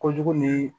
Kojugu ni